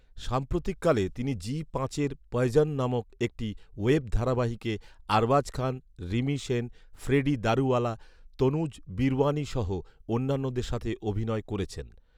সাম্প্রতিককালে তিনি জি পাঁচের "পয়জন" নামক একটি ওয়েব ধারাবাহিকে আরবাজ খান, রিমি সেন, ফ্রেডি দারুওয়ালা, তনুজ বিরওয়ানি সহ অন্যান্যদের সাথে অভিনয় করেছেন।